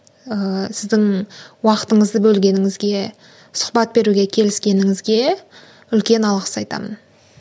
ыыы сіздің уақытыңыздяы бөлгеніңізге сұхбат беруге келіскеніңізге үлкен алғыс айтамын